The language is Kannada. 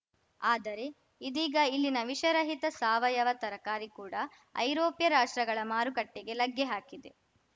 ಆದರೆ ಇದೀಗ ಇಲ್ಲಿನ ವಿಷರಹಿತ ಸಾವಯವ ತರಕಾರಿ ಕೂಡ ಐರೋಪ್ಯ ರಾಷ್ಟ್ರಗಳ ಮಾರುಕಟ್ಟೆಗೆ ಲಗ್ಗೆ ಹಾಕಿದೆ